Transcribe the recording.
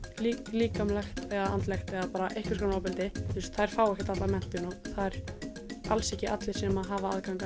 líkamlegt eða andlegt eða bara einhvers konar ofbeldi þú veist þær fá ekkert allar menntun og það eru alls ekki allir sem hafa aðgang